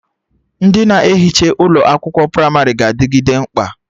Ndị na-ehicha ụlọ akwụkwọ pramarị ga-adịgide mkpa